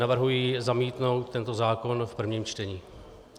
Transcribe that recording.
Navrhuji zamítnout tento zákon v první čtení.